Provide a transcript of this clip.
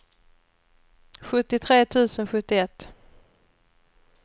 sjuttiotre tusen sjuttioett